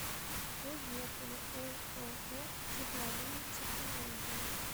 поехали ооо цифровые технологии